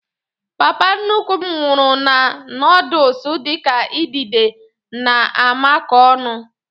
Papa nnukwu m nwuru na noodules dịka idide na amako ọnụ